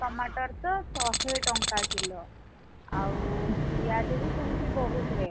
tomato ତ ଶହେ ଟଙ୍କା କିଲ, ଆଉ ପିଆଜ ବି ସେମିତି ବହୁତ rate